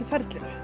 ferlinu